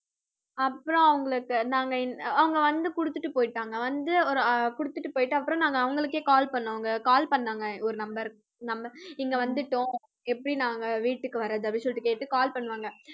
அப்புறம் அவங்களுக்கு நாங்க இந்~ அவங்க வந்து குடுத்துட்டு போயிட்டாங்க. வந்து, ஆஹ் ஒரு போயிட்டு அப்புறம் நாங்க அவங்களுக்கே call பண்ணவங்க. call பண்ணாங்க ஒரு number number இங்க வந்துட்டோம். எப்படி நாங்க வீட்டுக்கு வரது அப்படினு சொல்லிட்டு கேட்டு call பண்ணுவாங்க.